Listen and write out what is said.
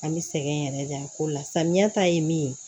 An bɛ sɛgɛn yɛrɛ de a ko la samiya ta ye min ye